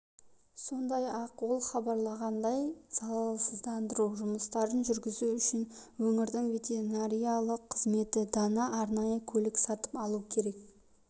сондай-ақ ол хабарлағандай залалсыздандыру жұмыстарын жүргізу үшін өңірдің ветеринарлық қызметі дана арнайы көлік сатып алуы керек